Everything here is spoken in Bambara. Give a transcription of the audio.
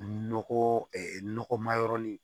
Nɔgɔ nɔgɔma yɔrɔ ni